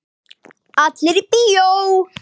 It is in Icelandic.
Allir í bíó!